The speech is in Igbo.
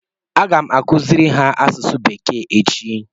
Aga m akụziri ha asụsụ bekee echi